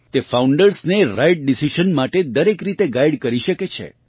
તે ફાઉન્ડર્સને right decision માટે દરેક રીતે ગાઇડ કરી શકે છે